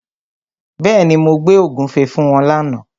Bẹ́ẹ̀ni, mo gbé ògúnfe fún wọn lána.